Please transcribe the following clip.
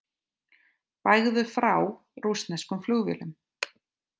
Bægðu frá rússneskum flugvélum